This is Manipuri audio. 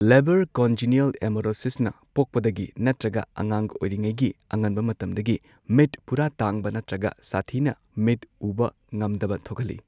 ꯂꯦꯕꯔ ꯀꯟꯖꯤꯅ꯭ꯌꯦꯜ ꯑꯦꯃꯣꯔꯣꯁꯤꯁꯅ ꯄꯣꯛꯄꯗꯒꯤ ꯅꯠꯇ꯭ꯔꯒ ꯑꯉꯥꯡ ꯑꯣꯢꯔꯤꯒꯤ ꯑꯉꯟꯕ ꯃꯇꯝꯗꯒꯤ ꯃꯤꯠ ꯄꯨꯔꯥ ꯇꯥꯡꯕ ꯅꯠꯇ꯭ꯔꯒ ꯁꯥꯊꯤꯅ ꯃꯤꯠ ꯎꯕ ꯉꯝꯗꯕ ꯊꯣꯛꯍꯜꯂꯤ꯫